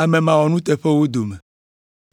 ame mawɔnuteƒewo dome.